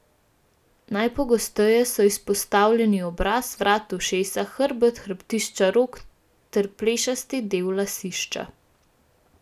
Najpogosteje so izpostavljeni obraz, vrat, ušesa, hrbet, hrbtišča rok ter plešasti del lasišča.